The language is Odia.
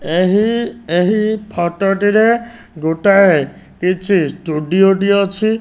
ଏହି ଏହି ଫଟୋ ଟିରେ ଗୋଟାଏ କିଛି ଷ୍ଟୁଡ଼ିଓ ଟିଏ ଅଛି।